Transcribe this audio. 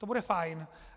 To bude fajn.